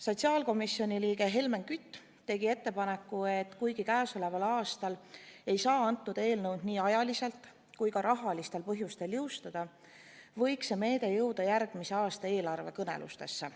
Sotsiaalkomisjoni liige Helmen Kütt tegi ettepaneku, et kuigi käesoleval aastal ei saa seda eelnõu nii ajaliselt kui ka rahalistel põhjustel seadusena jõustada, võiks see meede jõuda järgmise aasta eelarvekõnelustesse.